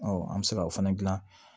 an bɛ se ka o fana dilan